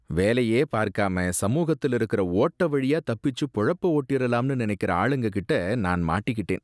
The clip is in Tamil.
வேலையே பார்க்காம சமூகத்துல இருக்குற ஓட்ட வழியா தப்பிச்சு பொழப்ப ஓட்டிறலாம்னு நினைக்குற ஆளுங்ககிட்ட நான் மாட்டிக்கிட்டேன்